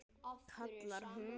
kallar hún.